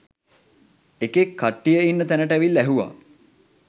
එකෙක් කට්ටිය ඉන්න තැනට ඇවිල්ල ඇහුව